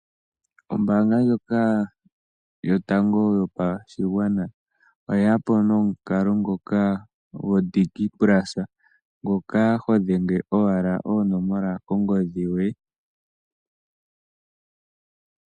Ombaanga ndjoka yotango yopashigwana oye ya po nomukalo ngoka goDigiPlus ngoka ho dhenge owala oonomola kongodhi yoye.